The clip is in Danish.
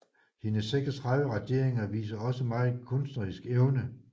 Hendes 36 raderinger viser også megen kunstnerisk evne